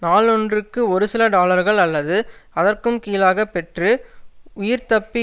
நாளொன்றுக்கு ஒருசில டாலர்கள் அல்லது அதற்கும் கீழாக பெற்று உயிர்தப்பி